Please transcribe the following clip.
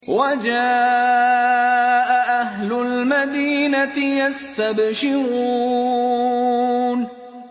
وَجَاءَ أَهْلُ الْمَدِينَةِ يَسْتَبْشِرُونَ